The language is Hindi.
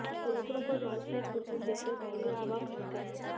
कबूतरों को जाल सहित उड़ते देखकर बहेलिया अवाक रह गया